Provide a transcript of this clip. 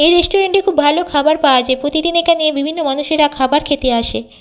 এই রেস্টুরেন্ট -টি খুব ভালো খাবার পাওয়া যায় প্রতিদিন এখানে বিভিন্ন মানুষেরা খাবার খেতে আসে।